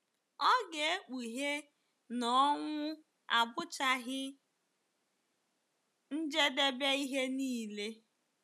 Ọ ga-ekpughe na ọnwụ abụchaghị njedebe ihe nile.